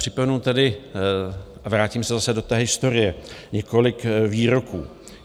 Připomenu tedy, a vrátím se zase do té historie, několik výroků.